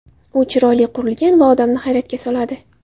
U chiroyli qurilgan va odamni hayratga soladi.